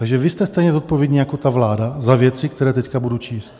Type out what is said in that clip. Takže vy jste stejně zodpovědní jako ta vláda za věci, které teď budu číst.